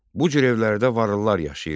Bu cür evlərdə varlılar yaşayırdılar.